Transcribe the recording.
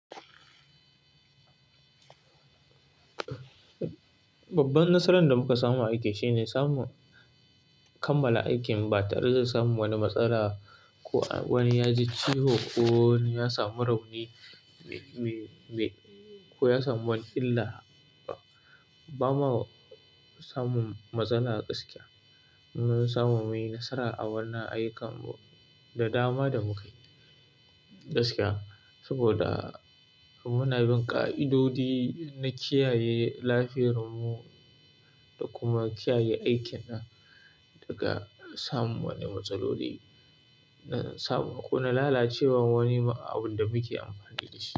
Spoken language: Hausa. Babban nasaran da muka samu a aikin shine samun. Kammala aikin ba tare da samun wani matsala ko wani ya ji ciwo ko ya samu rauni, me ko ya samu wani illa. Ba ma samun matsala gaskiya. Mun samu mun yi nasara a wannan ayyukan da dama da mukai gaskiya. Saboda muna bin ƙa'idodi na kiyaye lafiyar mu. Da kuma kiyaye aikin nan daga samun wani matsaloli na sabo ko na lalacewar wani abun da muke amfani da shi.